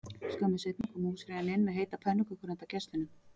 Skömmu seinna kom húsfreyjan inn með heitar pönnukökur handa gestunum